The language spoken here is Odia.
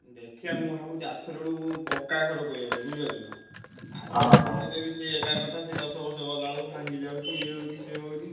ଦେ ଖିଆ ମୁଁ ଭାବୁଚି ଆରଥର ବେଳକୁ ପ କ୍କା ଘର କରିଆ ପାଇଁ ବୁଝି ପାରୁଛନା। Adjbest ପକେଇଲେ ବି ସିଏ ଏକା କଥା। ସିଏ ଦଶ ବର୍ଷ ଗଲା ବେଳକୁ ଭାଙ୍ଗି ଯାଉଛି ଇଏ ହଉଛି ସିଏ ହଉଛି।